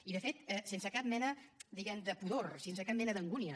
i de fet sense cap mena diguem ne de pudor sense cap mena d’angúnia